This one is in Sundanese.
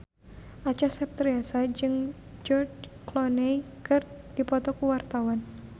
Acha Septriasa jeung George Clooney keur dipoto ku wartawan